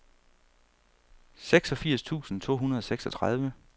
seksogfirs tusind to hundrede og seksogtredive